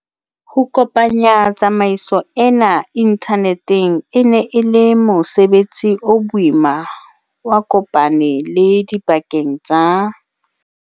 Ho kopanya tsamaiso ena inthaneteng e ne e le mose betsi o boima wa kopane lo dipakeng tsa